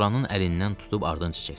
Loranın əlindən tutub ardınca çəkdi.